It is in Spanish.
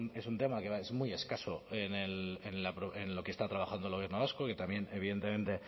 pero es un tema que es muy escaso en lo que está trabajando el gobierno vasco que también evidentemente